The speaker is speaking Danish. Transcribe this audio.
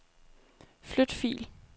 Flyt fil.